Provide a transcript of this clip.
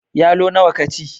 Yalo nawa ka ci?